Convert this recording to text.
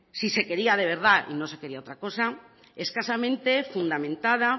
si se quería de verdad y no se quería otra cosa escasamente fundamentada